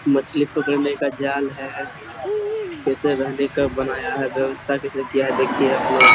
मछली पकड़ने का जाल है कैसे रहने का बनाया है व्यवस्था कैसे किया देखिए आप लोग।